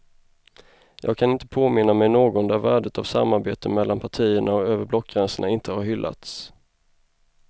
Jag kan inte påminna mig någon där värdet av samarbete mellan partierna och över blockgränsen inte har hyllats.